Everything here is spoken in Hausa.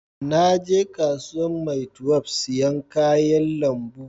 Na je kasuwan maitwef sayan kayan lambu